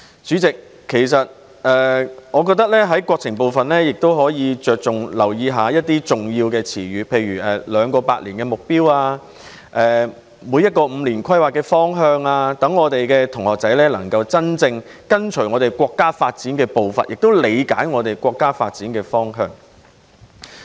主席，我認為有關國情的部分可以着重留意一些重要的詞語，例如"兩個百年"的目標，每個五年規劃的方向，讓學生能夠真正跟隨國家發展的步伐，並理解國家發展的方向。